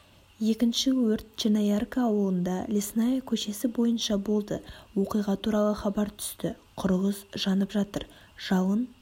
екінші өрт черноярка ауылында лесная көшесі бойынша болды оқиға туралы хабар түсті құрылыс жанып жатыр жалын